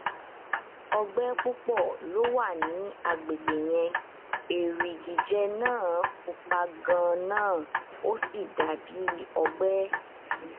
ọgbẹ púpọ ló wà ní àgbègbè yẹn erigijẹ naa pupa ganan ó sì dà bí ọgbẹ